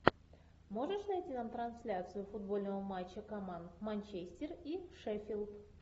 можешь найти нам трансляцию футбольного матча команд манчестер и шеффилд